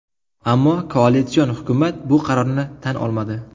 Ammo koalitsion hukumat bu qarorni tan olmadi.